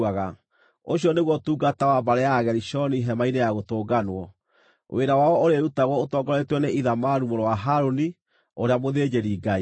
Ũcio nĩguo ũtungata wa mbarĩ ya Agerishoni Hema-inĩ-ya-Gũtũnganwo. Wĩra wao ũrĩĩrutagwo ũtongoretio nĩ Ithamaru mũrũ wa Harũni, ũrĩa mũthĩnjĩri-Ngai.